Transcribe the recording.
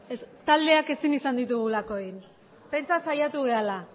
taldeak ezin izan ditugulako egin pentsa saiatu garela